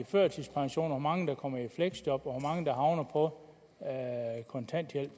førtidspension hvor mange der kommer i fleksjob og hvor mange der havner på kontanthjælp